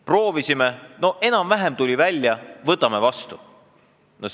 Proovisime, no enam-vähem tuli välja, võtame vastu!